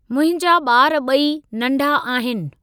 मुंहिंजा बा॒र ॿई नंढा आहिनि।